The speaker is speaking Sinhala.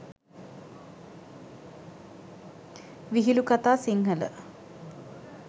vihilu katha sinhala